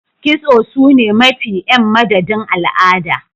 Kitso sune mafi m madadin al'ada